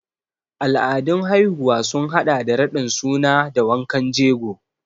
Al'adun haihuwa sun haɗa da raɗin suna da wankan jego.